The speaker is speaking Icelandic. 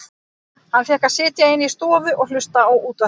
Hann fékk að sitja inni í stofu og hlusta á útvarpið.